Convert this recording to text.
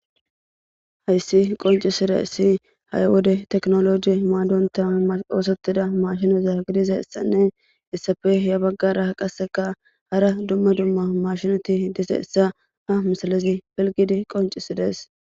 hayssi qoncisida issi hayi wode teknoloji maadonta oosettida mashinoza gidiza issanne issafe ya baggara qasseka hara dumma dumma mashinoti dise essa ha misalazi pilgidi qoncisides